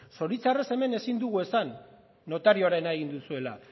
zoritxarrez hemen ezin dugu esan notarioarena egin duzuela